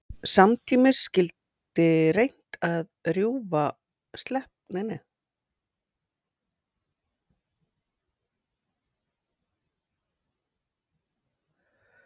Samtímis skyldi reynt að rjúfa samgönguleiðir Bandamanna með látlausum hernaði gegn kaupförum.